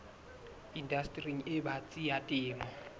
indastering e batsi ya temo